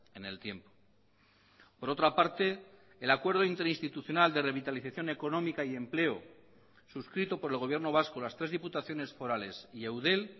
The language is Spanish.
en el tiempo por otra parte el acuerdo interinstitucional de revitalización económica y empleo suscrito por el gobierno vasco las tres diputaciones forales y eudel